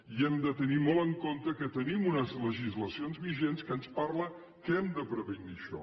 i hem de tenir molt en compte que hem de tenir una legislació vigent que ens parla que hem de prevenir això